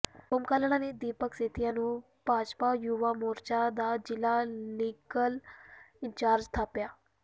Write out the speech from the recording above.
ਸੋਮ ਕਾਲੜਾ ਨੇ ਦੀਪਕ ਸੇਤੀਆ ਨੂੰ ਭਾਜਪਾ ਯੁਵਾ ਮੋਰਚੇ ਦਾ ਜ਼ਿਲ੍ਹਾ ਲੀਗਲ ਇੰਚਾਰਜ ਥਾਪਿਆ